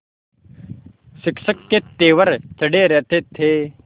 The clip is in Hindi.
शिक्षक के तेवर चढ़े रहते थे